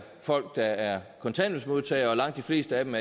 folk der er kontanthjælpsmodtagere og at langt de fleste af dem